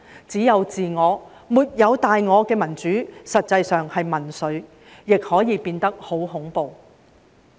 只有自我，沒有大我的民主，實際上是民粹，亦可以變得十分恐怖。